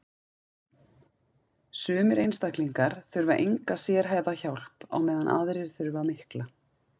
sumir einstaklingar þurfa enga sérhæfða hjálp á meðan aðrir þurfa mikla